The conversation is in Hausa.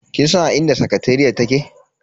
Kin san a inda sakateriyar take?